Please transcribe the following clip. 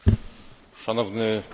Panie przewodniczący!